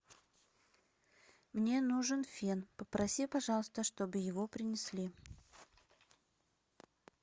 мне нужен фен попроси пожалуйста чтобы его принесли